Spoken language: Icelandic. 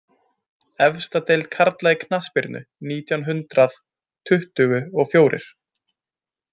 Efsta deild karla í knattspyrnu nítján hundrað tuttugu og fjórir